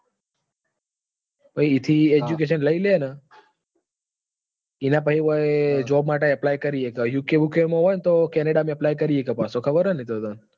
પછી ત્યાં થી education લઇ લે ને? પછી અહી job માટે apply કરી સકે UK બુકે માં હોય ને તો canada માં apply કરી સકે પાછો ખબર છે ને તને?